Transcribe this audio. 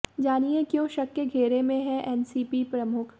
जानिए क्यों शक के घेरे में हैं एनसीपी प्रमुख